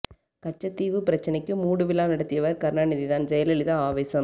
கச்சத் தீவு பிரச்னைக்கு மூடு விழா நடத்தியவர் கருணாநிதிதான் ஜெயலலிதா ஆவேசம்